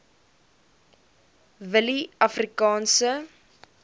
willieafrikaanse